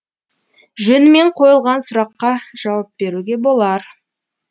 жөнімен қойылған сұраққа жауап беруге болар